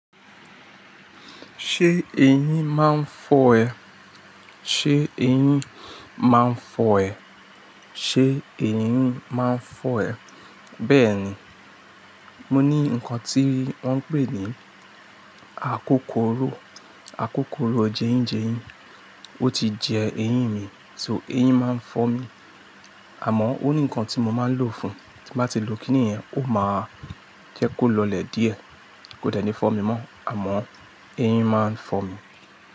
Ṣé eyín máa ń fọ́ ẹ? Ṣé eyín máa ń fọ́ ẹ? Ṣé eyín máa ń fọ́ ẹ? Bẹ́ẹ̀ni, mo ní nǹkan tí wọ́n ń pè ní àkókòrò, àkókòrò jeyinjeyin, ó ti jẹ eyín mi, so eyín máa ń fọ́ mi. Àmọ́ ó ní nǹkan tí mo máa lò fún un, tí bá ti lò kíni yẹ́n, ó máa jẹ́ kó lọlẹ̀ díẹ̀, kó dẹ̀ ní fọ́ mi mọ́, àmọ́ eyín máa ń fọ́ mi.